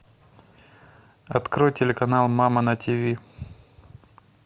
открой телеканал мама на тиви